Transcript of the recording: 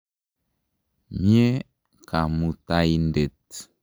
Mye Kamutaindet.